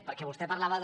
perquè vostè parlava de